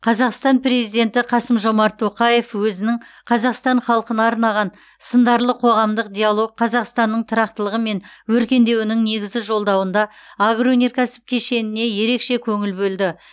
қазақстан президенті қасым жомарт тоқаев өзінің қазақстан халқына арнаған сындарлы қоғамдық диалог қазақстанның тұрақтылығы мен өркендеуінің негізі жолдауында агроөнеркәсіп кешеніне ерекше көңіл бөлді